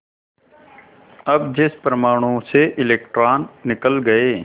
अब जिस परमाणु से इलेक्ट्रॉन निकल गए